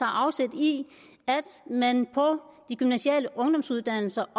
afsæt i at man på de gymnasiale ungdomsuddannelser